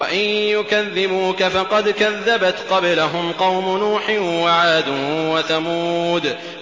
وَإِن يُكَذِّبُوكَ فَقَدْ كَذَّبَتْ قَبْلَهُمْ قَوْمُ نُوحٍ وَعَادٌ وَثَمُودُ